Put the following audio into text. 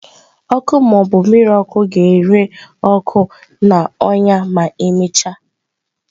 Ọkụ ma ọ bụ mmiri ọkụ ga-ere ọkụ na ọnya ma emechaa.